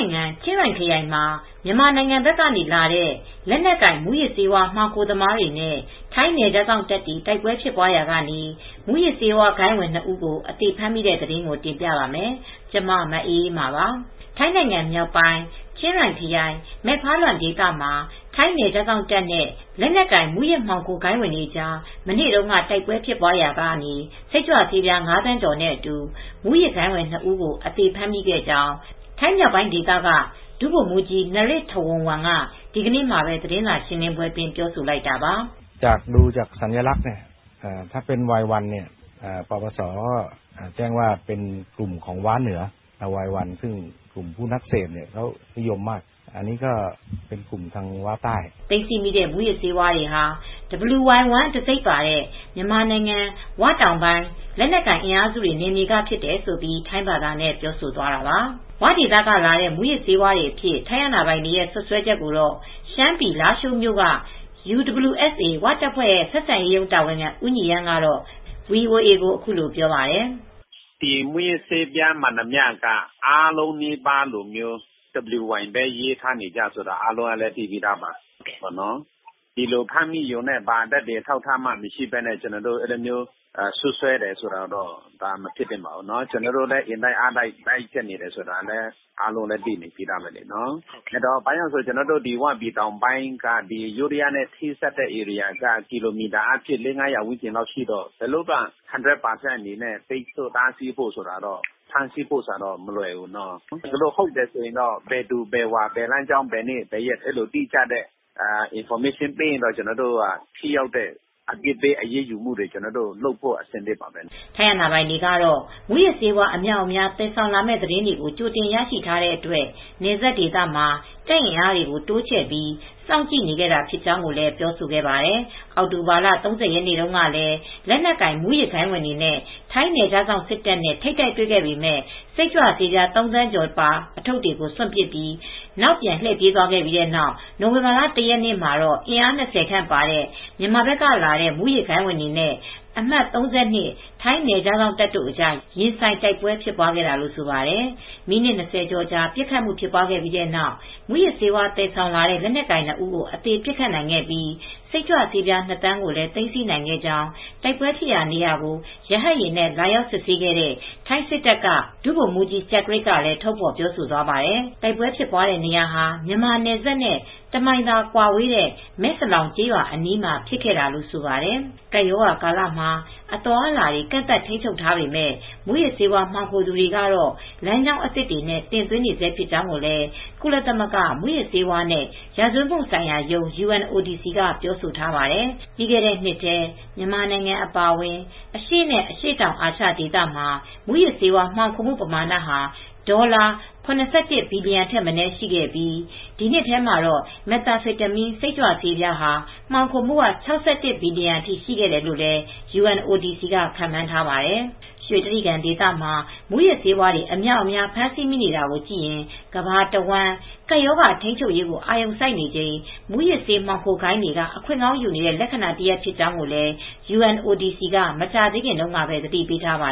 ိုင်ငံ ချင်းရိုင်ခရိုင်မှာ မြန်မာနိုင်ငံဘက်ကလာတဲ့ လက်နက်ကိုင်မူးယစ်ဆေးဝါး မှောင်ခိုသမားတွေနဲ့ ထိုင်းနယ်ခြားစောင့်တပ်တွေ တိုက်ပွဲဖြစ်ပွားရာက မူးယစ်ဆေးဝါးဂိုဏ်းဝင် နှစ်ဦးကို အသေဖမ်းမိတဲ့သတင်းကို တင်ပြပါမယ်။ ဗွီအိုအေမြန်မာပိုင်းသတင်းထောက် မအေးအေးမာက သတင်းပေးပို့ပေးထားပါတယ်။ ထိုင်းနိုင်ငံမြောက်ပိုင်း ချင်းရိုင်ခရိုင် မဲဖါလွမ်ဒေသမှာ ထိုင်းနယ်ခြားစောင့်တပ်နဲ့လက်နက်ကိုင် မူးယစ်မှောင်ခိုဂိုဏ်းဝင်တွေကြား မနေ့တုန်းက တိုက်ပွဲဖြစ်ရာက စိတ်ကြွဆေးပြား ၅,၀၀၀,၀၀၀ ကျော်နဲ့အတူ မူးယစ်ဂိုဏ်းဝင် နှစ် ဦးကို အသေဖမ်းမိခဲ့ကြောင်း ထိုင်းမြောက်ပိုင်းဒေသက ဒုဗိုလ်မှူးကြီး Pol. Narit Thawornwong က ဒီကနေ့ သတင်းစာရှင်းလင်းပွဲမှာ ပြောဆိုလိုက်တာပါ။ "သိမ်းဆည်းမိတဲ့ မူးယစ်ဆေးဝါးတွေဟာ wy1 တံဆိပ်ပါတဲ့ မြန်မာနိုင်ငံ ၀ တောင်ပိုင်းလက်နက်ကိုင် အင်အားစုတွေနယ်မြေကဖြစ်တယ်။" လို့ ထိုင်းဘာသာနဲ့ ပြောဆိုသွားတာပါ။ ဝဒေသက လာတဲ့ မူးယစ်ဆေးဝါးတွေအဖြစ် ထိုင်းအာဏာပိုင်တွေရဲ့ စွပ်စွဲချက်ကိုတော့ ရှမ်းပြည်လားရှိုးမြို့က UWSA ဝတပ်ဖွဲ့ ဆက်ဆံရေးရုံး တာဝန်ခံဦးညီရမ်းက ဗွီအိုအေကို အခုလိုပြောပါတယ်။ "ဒီမူးယစ်ဆေးဝါးမှန်သမျှက WY လို့ပဲရေးထားတာပါ။ သက်သေမရှိဘဲနဲ့ ဒီလိုစွပ်စွဲလို့ မဖြစ်သင့်ပါဘူး။ ကျနော်တို့လည်း အင်တိုက်အားတိုက်တားဆီးနေတာလည်း အားလုံးလည်း သိပြီးသားဖြစ်မှာပါ။ ကျနော်တို့ ဝတောင်ပိုင်းက ယိုးဒယားနယ်စပ်ထိတော့ ကီလိုမီတာ ၄၀၀ နဲ့ ၅၀၀ လောက်ကွာဝေးတော့ ဒီလို ၁၀၀ ရာခိုင်နှုန်း ဖမ်းဆီးဖို့ ထိန်းချုပ်ဖို့ကတော့ မလွယ်ကူပါဘူး။ ဟုတ်တယ်ဆိုရင်တော့ ဘယ်သူဘယ်ဝါ ဘယ်လမ်းကြောင်း ဘယ်နေ့ဆိုတာ အတိအကျ သတင်းပေးရင်တော့ ဘယ်သူမဆိုကို ထိရောက်တဲ့အပြစ်ပေး အရေးယူဖို့ကတော့ ကျနော်တို့ဘက်ကတော့ အဆင်သင့်ပါပဲ။" ထိုင်းအာဏာပိုင်တွေကတော့ မူးယစ်ဆေးဝါး အမြောက်အမြား သယ်ဆောင်မယ့် သတင်းတွေ ကြိုတင်ရရှိထားတဲ့အတွက် နယ်စပ်ဒေသမှာ တပ်အင်အားတွေ တိုးချဲ့ပြီး စောင့်ကြည့်နေခဲ့တာဖြစ်ကြောင်းလည်း ပြောဆိုခဲ့ပါတယ်။ အောက်တိုဘာလ ၃၀ ရက်နေ့တုန်းကလည်း လက်နက်ကိုင်မူးဂိုဏ်းတွေနဲ့ ထိုင်းနယ်ခြားစောင့် စစ်တပ်နဲ့ ထိပ်တိုက်တွေ့ခဲ့ပေမဲ့ စိတ်ကြွဆေးပြား ၃,၀၀၀,၀၀၀ ကျော်ပါ ထုတ်တွေကို စွန့်ပစ်ပြီး နောက်ပြန်လှည့်ပြေးသွားခဲ့ပြီး နိုဝင်ဘာလ ၁ ရက်နေ့မှာတော့ အင်အား၂၀ ခန့်ပါတဲ့ မြန်မာဘက်ကဝင်လာတဲ့ မှူးယစ်ဂိုဏ်းဝင်တွေနဲ့ အမှတ် ၃၂ ထိုင်းနယ်ခြားစောင့်တပ်တို့အကြား ရင်ဆိုင်တိုက်ပွဲ ဖြစ်ပွားခဲ့တာလို့ ဆိုပါတယ်။ မိနစ် ၂၀ ကျော်ပစ်ခတ်မှု ဖြစ်ပွားခဲ့ပြီးတဲ့နောက် မူးယစ်ဆေးသယ်ဆောင်လာတဲ့ လက်နက်ကိုင်နှစ်ဦး အသေပစ်ခတ်နိုင်ခဲ့ပြီး စိတ်ကြွဆေး ၂,၀၀၀,၀၀၀ ကိုလည်း သိမ်းဆည်းနိုင်ခဲ့ကြောင်း တိုက်ပွဲဖြစ်ပွားရာဒေကို ရဟတ်ယာဉ်နဲ့ လာရောက် စစ်ဆေးခဲ့တဲ့ ထိုင်းစစ်တပ်တပ်က ဒုဗိုလ်မှူးကြီး ကျကရစ်ကလည်း ထုတ်ဖေါ်ပြောဆိုသွားပါတယ်။ တိုက်ပွဲဖြစ်ပွားတဲ့ နေရာဟာ မြန်မာ နယ်စပ်နဲ့ တစ်မိုင်ခန့်သာကွာဝေးတဲ့ Mae Salong ကျေးရွာအနီးမှာ ဖြစ်ခဲ့တာလို့ဆိုပါတယ် ကပ်ရောဂါကာလမှာ အသွားအလာတွေ ကန့်သတ်ထိန်းချုပ်ထားပေမဲ့ မူးယစ်ဆေးဝါး မှောင်ခိုသူတွေကတော့ လမ်းကြောင်းသစ်တွေနဲ့ တင်သွင်းနေဆဲဖြစ်ကြောင်းလည်း ကုလသမဂ္ဂ မူးယစ်ဆေးဝါးနဲ့ ရာဇဝတ်မှုဆိုင်ရာရုံး က ပြောဆိုထားပါတယ်။ ပြီးခဲ့တဲ့နှစ်ထဲ မြန်မာနိုင်ငံအပါအဝင် အရှေ့နဲ့ အရှေ့တောင်အာရှ ဒေသမှာ မူးယစ်ဆေးဝါး မှောင်ခိုမှုပမာဏဟာ ဒေါ်လာ ၇၁ ဘီလီယံထက်မနည်း ရှိခဲ့ပြီး ဒီအထဲမှာ Methamphetamine စိတ်ကြွဆေး မှောင်ခိုမှုက ၆၁ ဘီလီယံအထိ ရှိတယ်လို့လည်း UNODC က ခန့်မှန်းထားပါတယ်။ ရွှေတြိဂံဒေသမှာ မူးယစ်ဆေးတွေ အများအပြား ဖမ်းဆီးမိနေတာကိုကြည့်ရင် ကမ္ဘာတဝန်း ကပ်ရောဂါထိန်းချုပ်ရေး အာရုံစိုက်နေချိန် မူးယစ်ဆေးမှောင်ခိုဂိုဏ်းတွေက အခွင့်ကောင်းယူနေတဲ့ လက္ခဏာတရပ် ဖြစ်ကြောင်းလည်း UNODC က မကြာသေးခင်တုန်းကပဲ သတိပေးထားပါ